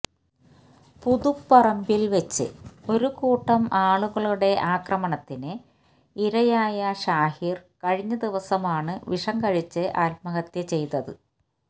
പുതുപ്പറമ്പില്വച്ച് ഒരുകൂട്ടം ആളുകളുടെ ആക്രമണത്തിന് ഇരയായ ഷാഹിര് കഴിഞ്ഞ ദിവസമാണ് വിഷം കഴിച്ച് ആത്മഹത്യ ചെയ്തത്